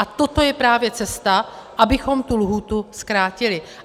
A toto je právě cesta, abychom tu lhůtu zkrátili.